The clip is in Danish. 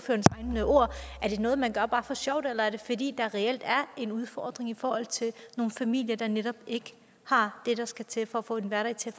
er det noget man gør bare for sjov eller er det fordi der reelt er en udfordring for nogle familier der netop ikke har det der skal til for at få en hverdag til